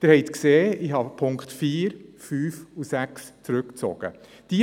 Sie sehen, dass ich die Punkte 4–6 zurückgezogen habe.